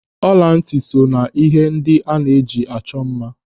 Ọlantị so n'ihe ndị a na-eji achọ mma.